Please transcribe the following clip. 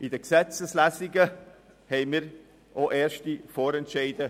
In den Gesetzeslesungen trafen wir ausserdem erste Vorentscheide.